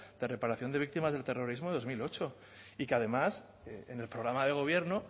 de reparación de víctimas del terrorismo de dos mil ocho y que además en el programa de gobierno